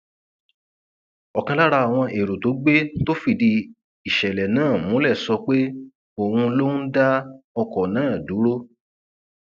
ọkan lára àwọn ẹrọ tó gbé tó fìdí ìṣẹlẹ náà múlẹ sọ pé òun lòún dá ọkọ náà dúró